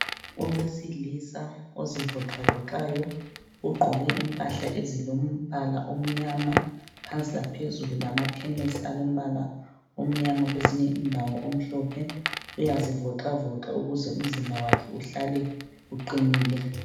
Owesilisa ozivoxavoxayo, ugqoke impahla ezilombala omnyama, phansi laphezulu. Lamathenisi alombala omnyama kwezinye indawo, omhlophe. Uyazivoxavoxa ukuze umzimba wakhe uhlale uqinile.